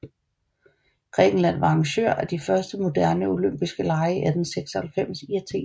Grækenland var arrangør af de første moderne olympiske lege i 1896 i Athen